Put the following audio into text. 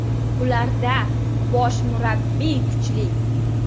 Ularda bosh murabbiy kuchli.